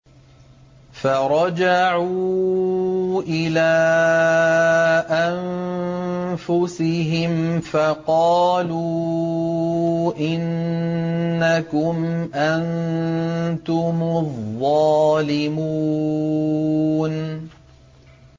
فَرَجَعُوا إِلَىٰ أَنفُسِهِمْ فَقَالُوا إِنَّكُمْ أَنتُمُ الظَّالِمُونَ